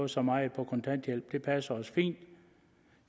så meget på kontanthjælp det passer mig fint